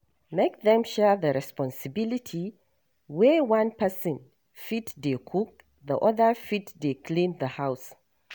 Make them share the responsibility wey one pesin fit de cook the other fit de clean the house